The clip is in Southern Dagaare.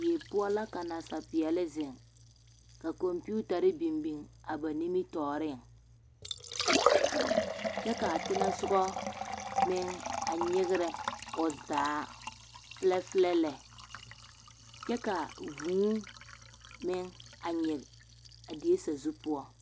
Die poɔ la ka nasapeɛlle zeŋ ka kɔmpiitare biŋ biŋ a ba nimitɔɔreŋ kyɛ ka a teŋɛ soga meŋ a nyegrɛ o zaa filɛfilɛ kyɛ ka vuu meŋ a nyege a die sazu poɔ.